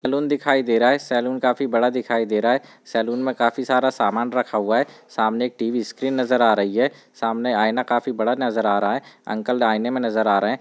Salon दिखाई दे रहा है सलून काफी बड़ा दिखाई दे रहा है सलून में काफ़ी सारा सामान रखा हुआ है सामने एक टी.वी. स्क्रीन नजर आ रही है सामने आयना काफ़ी बड़ा नजर आ रहा है अंकल आयने में नजर आ रहे हैं।